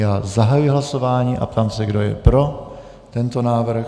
Já zahajuji hlasování a ptám se, kdo je pro tento návrh.